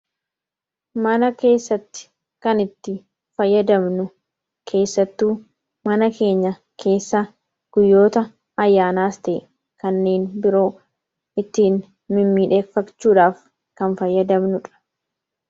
mana keessatti kan itti fayyadabnu keessattuu mana keenya keessa guyyoota ayyaanaastee kanneen biroo ittiin mimmidheeffachuudhaaf kan fayyadabnudha